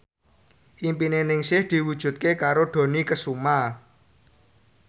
impine Ningsih diwujudke karo Dony Kesuma